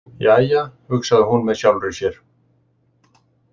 Jæja, hugsaði hún með sjálfri sér.